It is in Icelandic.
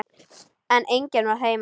En enginn var heima.